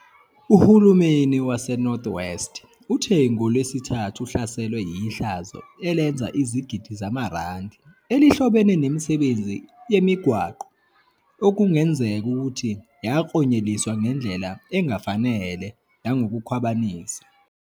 Uhulumeni waseNorth West uthe ngoLwesithathu uhlaselwe yihlazo elenza izigidi zamarandi elihlobene nemisebenzi yamigwaqo okungenzeka ukuthi yaklonyeliswa ngendlela engafanele nangokukhwabanisa.